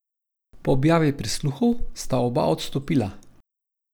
Po objavi prisluhov sta oba odstopila.